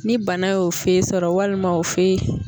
Ni bana y'o fe sɔrɔ walima o fe